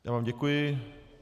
Já vám děkuji.